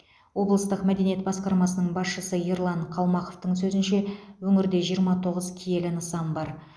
облыстық мәдениет басқармасының басшысы ерлан қалмақовтың сөзінше өңірде жиырма тоғыз киелі нысан бар